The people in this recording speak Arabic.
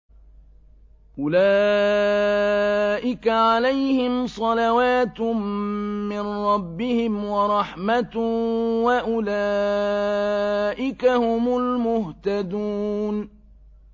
أُولَٰئِكَ عَلَيْهِمْ صَلَوَاتٌ مِّن رَّبِّهِمْ وَرَحْمَةٌ ۖ وَأُولَٰئِكَ هُمُ الْمُهْتَدُونَ